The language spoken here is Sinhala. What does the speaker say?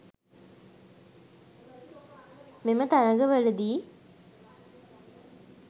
මෙම තරග වලදී